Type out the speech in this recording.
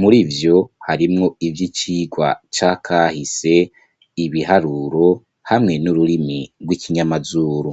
muri vyo harimwo ivy'icigwa cakahise, ibiharuro, hamwe n'ururimi rw'ikinyamazuru.